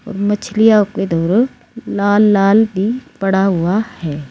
मछलियां लाल लाल भी पड़ा हुआ है।